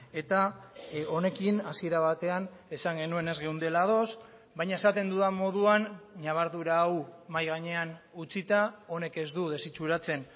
eta honekin hasiera batean esan genuen ez geundela ados baina esaten dudan moduan ñabardura hau mahai gainean utzita honek ez du desitxuratzen